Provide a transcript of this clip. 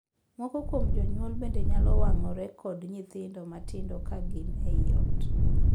Moko kuom jonyuol bende nyalo wang'ore kod nyithindo matindo ka gin ei ot.